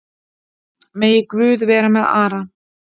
Megi Guð vera með Ara.